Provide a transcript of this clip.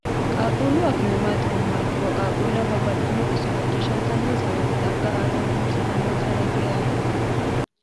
qaaquullu akkime maati yinummoha ikkiro qaaquuleho babbaxxitino xisso macciishshantannoonsa woyite xagga aatenni hursitannoonsareiti yaate